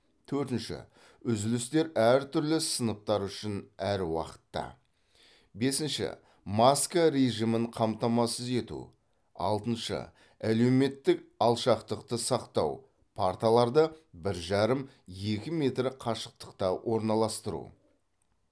төртінші үзілістер әртүрлі сыныптар үшін әр уақытта бесінші маска режимін қамтамасыз ету алтыншы әлеуметтік алшақтықты сақтау парталарды бір жарым екі метр қашықтықта орналастыру